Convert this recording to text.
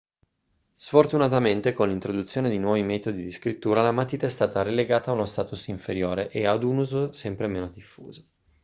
sfortunamente con l'introduzione di nuovi metodi di scrittura la matita è stata relegata a uno status inferiore e ad un uso sempre meno diffuso